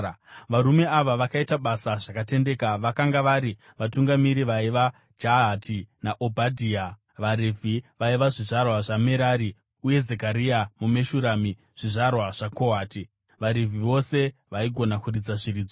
Varume ava vakaita basa zvakatendeka. Vakanga vari vatungamiri vaiva Jahati naObhadhia, vaRevhi vaiva zvizvarwa zvaMerari, uye Zekaria naMeshurami zvizvarwa zvaKohati. VaRevhi, vose vaigona kuridza zviridzwa,